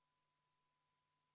Palun võtta seisukoht ja hääletada!